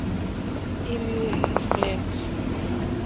e music flat